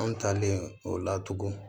An talen o la tugun